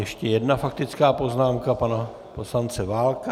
Ještě jedna faktická poznámka pana poslance Válka.